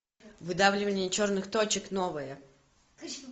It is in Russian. выдавливание черных точек новое